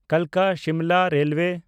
Kalka-Simla railway